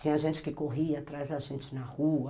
Tinha gente que corria atrás da gente na rua.